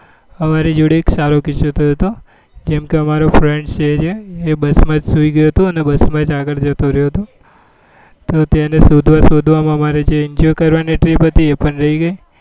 અમરી જોડે એક સારો કિસ્સો થયો હતો એમ કે અમરો એક friend છે તે બસ માં જ સુઈ ગયો હતો અને બસ માં જ આગળ જતો રહ્યો હતો તો તેને શોધવા શોધવા માં જ અમારે જે યુક્તિઓ કરવા ની હતી એ બધી એ પણ રહી ગઈ